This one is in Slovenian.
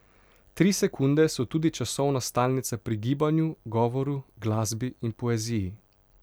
Tri sekunde so tudi časovna stalnica pri gibanju, govoru, glasbi in poeziji.